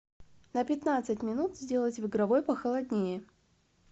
на пятнадцать минут сделать в игровой похолоднее